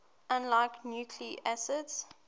unlike nucleic acids